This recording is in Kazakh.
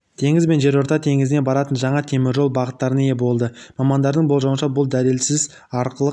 теңіз бен жерорта теңізіне баратын жаңа теміржол бағыттарына ие болды мамандардың болжауынша бұл дәліз арқылы